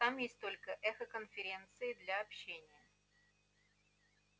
там есть только эхоконференции для общения